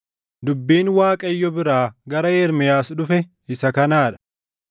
Dubbiin Waaqayyo biraa gara Ermiyaas dhufe isa kanaa dha;